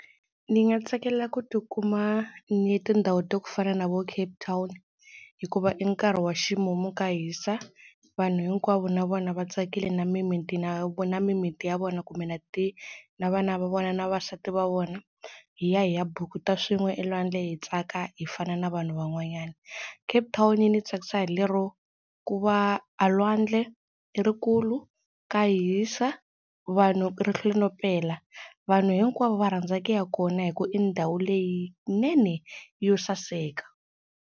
Ni nga tsakela ku tikuma ni ye tindhawu ta ku fana na vo Cape Town hikuva i nkarhi wa ximumu ka hisa, vanhu hinkwavo na vona va tsakile na mimiti na na mimiti ya vona kumbe na ti na vana va vona na vavasati va vona hi ya hi ya bukuta swin'we elwandle hi tsaka hi fana na vanhu van'wanyana. Cape Town yi ni tsakisa hi lero ku va a lwandle i ri kulu, ka hisa, vanhu ri hlwela no pela, vanhu hinkwavo va rhandza ku ya kona hi ku i ndhawu leyinene yo saseka.